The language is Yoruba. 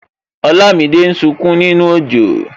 Olamide ń sunkún nínú ojo